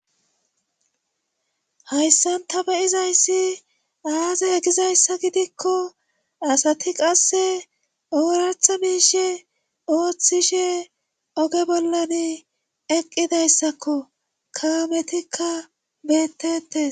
hayssan ta beyizayssi aaze hegizayssa gidikko asati qasse ooratha miishe ooththishe oge bollan eqqidayssakko kaametikka beettete